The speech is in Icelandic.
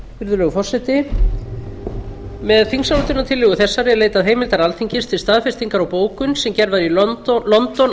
virðulegur forseti með þingsályktunartillögu þessari er leitað heimildar alþingis til staðfestingar á bókun sem gerð var í london